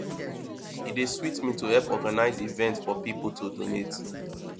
e dey sweet me to help organize events for people to donate